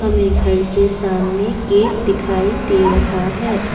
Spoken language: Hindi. घर के सामने गेट दिखाई दे रहा है।